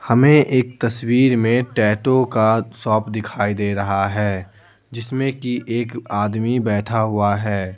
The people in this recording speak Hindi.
हमें एक तस्वीर में टैटो का शॉप दिखाई दे रहा है जिसमें कि एक आदमी बैठा हुआ है।